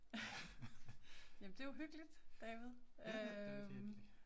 ***nonverbal** Ja, det er rigtig hyggelig